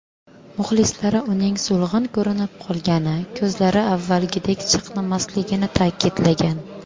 Muxlislari uning so‘lg‘in ko‘rinib qolgani, ko‘zlari avvalgidek chaqnamasligini ta’kidlagan.